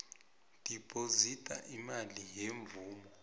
dibhozida imali yemvumo